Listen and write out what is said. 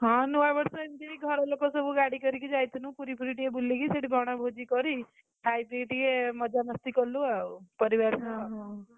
ହଁ, ନୂଆବର୍ଷ ଏମିତି ଘର ଲୋକ ସବୁ ଗାଡିକରିକି ଯାଇଥିଲୁ ପୁରୀ ଫୁରି ଟିକେ ବୁଲିକି ସେଠି ବଣଭୋଜି କରି, ଖାଇପି ଟିକେ ମଜା ମସ୍ତି କଲୁ ଆଉ, ପରିବାର ଓହୋ ଆଉ।